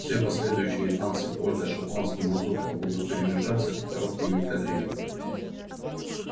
все последующие танцы полька шотландский мазурка будут перемежаться короткими кадрилями